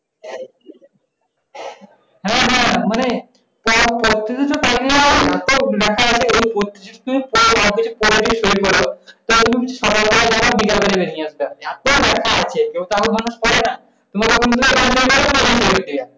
হ্যাঁ হ্যাঁ মানে এত ব্যাথা আছে কেউ কারো মানুষ পরে না।